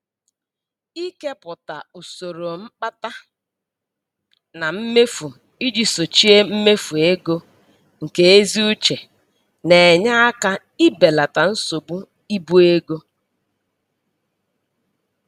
Ikepụta usoro mkpata na mmefu iji sochie mmefu ego nke ezi uche na-enye aka ibelata nsogbu ibu ego.